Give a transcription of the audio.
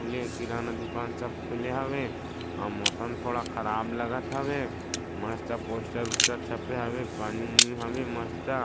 ले किराना दुकान सब खुले हवे और मौसम थोड़ा ख़राब लागत हॉवे मस्त पोस्टर उस्टर छपे हवे पानी ऊनि हवे मस्ता --